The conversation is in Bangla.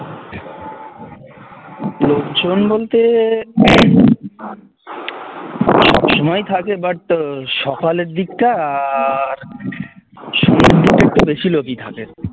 লোকজন বলতে সব সময়ই থাকে but সকালের দিকটা আর সন্ধ্যের দিকে একটু বেশি লোকই থাকে